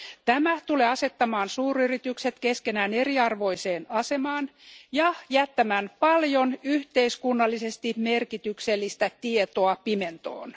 Tämä tulee asettamaan suuryritykset keskenään eriarvoiseen asemaan ja jättämään paljon yhteiskunnallisesti merkityksellistä tietoa pimentoon.